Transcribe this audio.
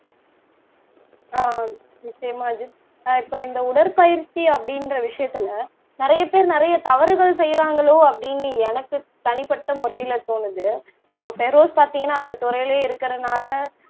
ஆஹ் நிச்சயமா அஜித் ஆஹ் இப்போ இந்த உடற்பயிற்சி அப்படின்ற விஷயத்திலே நிறைய பேர் நிறைய தவறுகள் செய்யறாங்களோ அப்படின்னு எனக்கு தனிப்பட்ட முறையில தோணுது இப்ப பெரோஸ் பாத்தீங்கன்னா அந்தத் துறையிலேயே இருக்கறதுனால